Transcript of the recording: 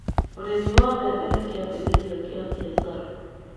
Ũrĩmi wa mbebe nĩ kiambĩrĩria kĩa biashara